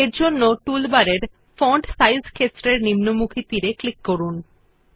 এরজন্য টুলবারের font size ক্ষেত্রের নিম্নমুখী তীর এ ক্লিক করুন